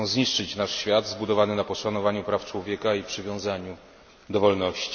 Chcą zniszczyć nasz świat zbudowany na poszanowaniu praw człowieka i przywiązaniu do wolności.